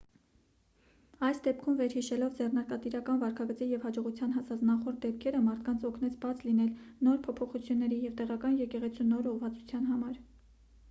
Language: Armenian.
այս դեպքում վերհիշելով ձեռնարկատիրական վարքագծի և հաջողության հասած նախորդ դեպքերը մարդկանց օգնեց բաց լինել նոր փոփոխությունների և տեղական եկեղեցու նոր ուղղվածության համար